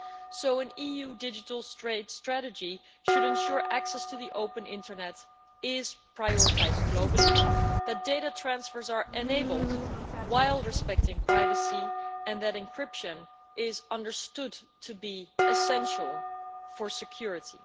So an EU digital strategy should ensure that access to the open internet is prioritised globally, that data transfers are enabled while respecting privacy, and that encryption is understood to be essential for security.